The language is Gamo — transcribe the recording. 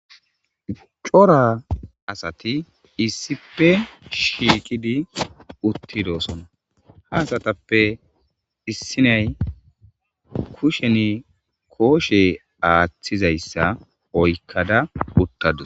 cora asati issipe shiiqidi uttidoosona ha asatappe issinay kusheni kooshe aaththizayssa oykkada uttadus